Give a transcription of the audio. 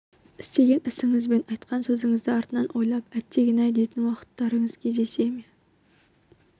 істеген ісіңіз бен айтқан сөзіңізді артынан ойлап әттеген-ай дейтін уақыттарыңыз жиі кездесе ме